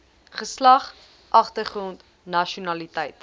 geslag agtergrond nasionaliteit